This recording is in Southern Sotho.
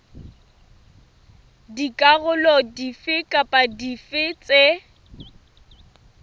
dikarolo dife kapa dife tse